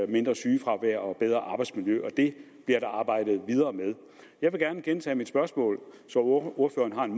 mindre sygefravær og et bedre arbejdsmiljø og det bliver der arbejdet videre med jeg vil gerne gentage mit spørgsmål så ordføreren